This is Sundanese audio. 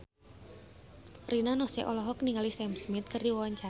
Rina Nose olohok ningali Sam Smith keur diwawancara